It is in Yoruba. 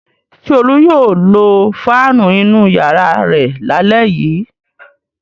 Ṣé Olú yóò lo fáánù inú ìyàrá rẹ̀ lálẹ́ yìí?